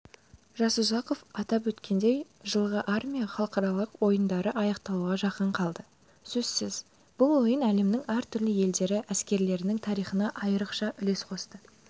жасұзақов атап өткендей жылғы армия халықаралық ойындары аяқталуға жақын қалды сөзсіз бұл ойын әлемнің әртүрлі елдері әскерлерінің тарихына айрықша үлес қосты